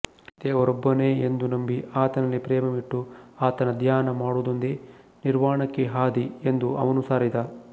ದೇವರೊಬ್ಬನೇ ಎಂದು ನಂಬಿ ಆತನಲ್ಲಿ ಪ್ರೇಮವಿಟ್ಟು ಆತನ ಧ್ಯಾನ ಮಾಡುವುದೊಂದೇ ನಿರ್ವಾಣಕ್ಕೆ ಹಾದಿ ಎಂದು ಅವನು ಸಾರಿದ